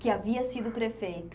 Que havia sido prefeito.